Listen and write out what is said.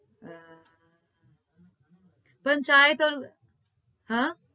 અમ પંચાયત और હા?